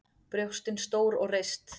Brjóstin stór og reist.